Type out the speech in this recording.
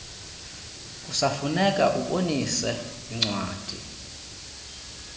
kusafuneka ubonise incwadi